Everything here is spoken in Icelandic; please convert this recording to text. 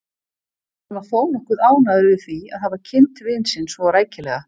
En hann var þó nokkuð ánægður yfir því að hafa kynnt vin sinn svo rækilega.